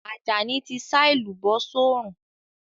Àjàní ti sá èlùbọ́ sórùn